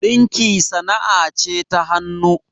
ɗinki sana'ce ta hanuu